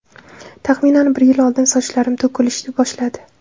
Taxminan bir yil oldin sochlarim to‘kilishdi boshladi.